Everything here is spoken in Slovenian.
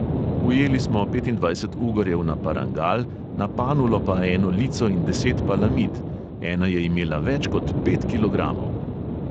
Ujeli smo petindvajset ugorjev na parangal, na panulo pa eno lico in deset palamid, ena je imela več kot pet kilogramov.